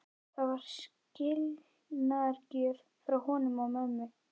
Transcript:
Það var skilnaðargjöf frá honum og mömmu.